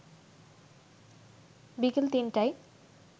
বিকেল ৩-০০টায়